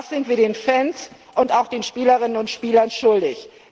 Das sind wir den Fans und auch den Spielerinnen und Spielern schuldig.